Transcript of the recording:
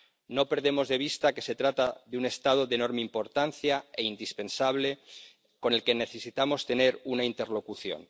No perdemos de vista que se trata de un Estado de enorme importancia e indispensable, con el que necesitamos tener una interlocución.